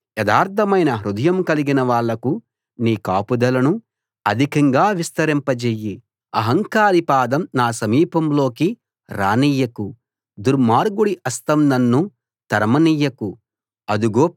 నువ్వంటే తెలిసినవారికి నీ నిబంధన కృపనూ యథార్ధమైన హృదయం కలిగిన వాళ్లకు నీ కాపుదలనూ అధికంగా విస్తరింపజేయ్యి